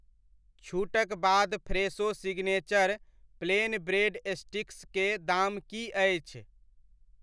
छूटक बाद Fresho signature plain bread sticks के दाम की अछि ?